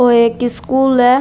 ओ एक स्कूल है।